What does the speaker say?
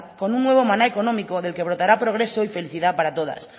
con un nuevo maná económico del que brotará progreso y felicidad para todas